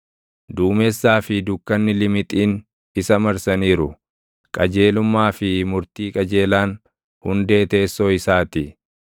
Duumessaa fi dukkanni limixiin isa marsaniiru; qajeelummaa fi murtii qajeelaan hundee teessoo isaa ti.